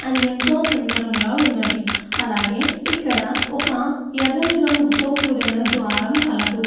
అది ఎంతో సుందరముగా ఉన్నది. అలాగే ఇక్కడ ఒక యెర్రని రంగుతో కూడిన ద్వారం కలదు.